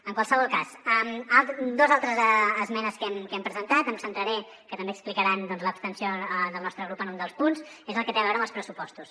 en qualsevol cas dos altres esmenes que hem presentat que també explicaran l’abstenció del nostre grup en un dels punts és el que té a veure amb els pressupostos